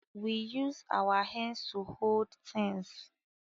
We use our hands to hold things